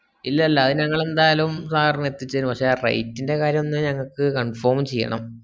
ഇല്ലല്ല അത് ഞങ്ങളെന്തായാലും sir ന് അതിച്ചെരും പക്ഷെ rate ന്റെ കാര്യം ഒന്ന് ഞങ്ങക്ക് confirm ചെയ്യണം